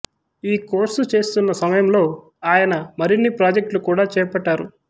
ఈ కోర్సు చేస్తున్న సమయంలో అయన మరిన్ని ప్రాజెక్ట్లు కూడా చేపట్టారు